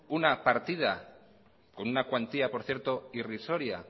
una partida con una cuantía por cierto irrisoria